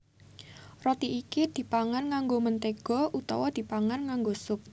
Roti iki dipangan nganggo mentéga utawa dipangan nganggo sup